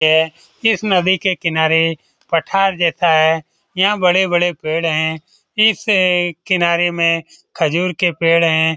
यह इस नदी के पठार जैसे है। यहाँ बड़े-बड़े पेड़ है। इसे किनारे में खजूर के पेड़ है।